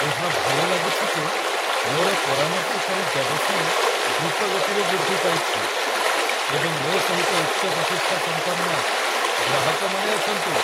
ଏହା ଭଲ ଲାଗୁଛି ଯେ ମୋର ପରାମର୍ଶକାରୀ ବ୍ୟବସାୟ ଦ୍ରୁତ ଗତିରେ ବୃଦ୍ଧି ପାଇଛି, ଏବଂ ମୋ ସହିତ ଉଚ୍ଚ ପ୍ରତିଷ୍ଠା ସମ୍ପନ୍ନ ଗ୍ରାହକମାନେ ଅଛନ୍ତି।